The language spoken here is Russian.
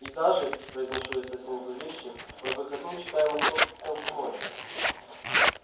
и даже произношу я совсем зловеще по выходным читаю московский комсомолец